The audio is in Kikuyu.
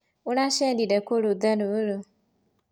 ũracerire kũ rũtha rũrũ?